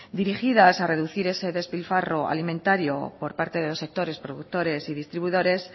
dirigidas a reducir ese despilfarro alimentario por parte de los sectores productores y distribuidores